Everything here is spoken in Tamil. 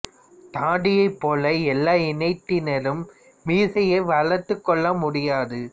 தாடியைப் போல எல்லா இனத்தினரும் மீசையை வளர்த்துக் கொள்ள முடியாது